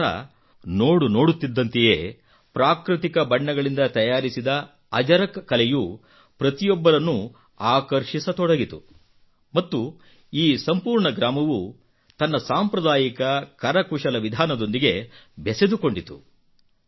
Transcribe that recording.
ನಂತರ ನೋಡ ನೋಡುತ್ತಿದ್ದಂತೆಯೇ ಪ್ರಾಕೃತಿಕ ಬಣ್ಣಗಳಿಂದ ತಯಾರಿಸಿದ ಅಜರಕ್ ಕಲೆಯು ಪ್ರತಿಯೊಬ್ಬರನ್ನೂ ಆಕರ್ಷಿಸತೊಡಗಿತು ಮತ್ತು ಈ ಸಂಪೂರ್ಣ ಗ್ರಾಮವು ತನ್ನ ಸಾಂಪ್ರದಾಯಿಕ ಕರಕುಶಲ ವಿಧಾನದೊಂದಿಗೆ ಬೆಸೆದುಕೊಂಡಿತು